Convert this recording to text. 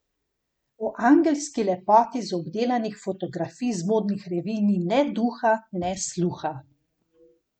O angelski lepoti z obdelanih fotografij z modnih revij ni ne duha ne sluha.